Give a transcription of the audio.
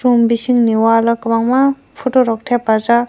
om bising ni waal o kobang ma poto rok tepajak.